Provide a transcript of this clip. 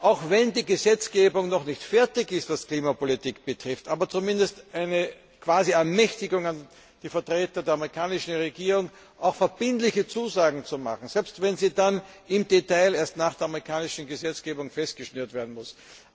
Auch wenn die Gesetzgebung noch nicht fertig ist, was die Klimapolitik betrifft, so gibt es zumindest eine Quasi Ermächtigung der Vertreter der amerikanischen Regierung, auch verbindliche Zusagen zu machen, selbst wenn sie dann im Detail erst nach der amerikanischen Gesetzgebung festgeschnürt werden müssen.